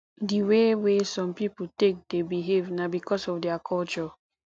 di way wey some pipo take dey behave na because of their culture